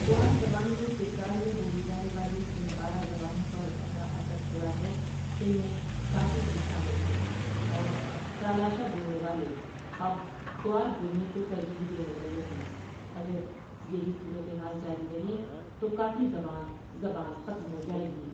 کھوار زبان نے چترال میں بولی جانے والی جن بارہ زبانوں پر اپنا اثر چھوڑا ہے ان میں کاٹی بھی شامل ہے اور کالاشہ بولنے والے اب کھوار بولنے کو ترجیع دینے لگے ہیں اگر یہی صورت حال جاری رہی تو کاٹی زبان زبان ختم ہو جایے گی۔